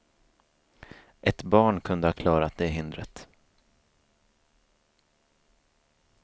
Ett barn kunde ha klarat det hindret.